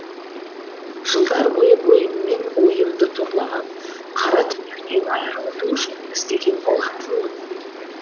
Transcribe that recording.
жылдар бойы бойыммен ойымды торлаған қара түнектен айырылудың жолын іздеген болатынмын